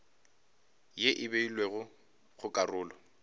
ye e beilwego go karolo